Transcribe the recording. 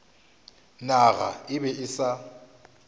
naga e be e sa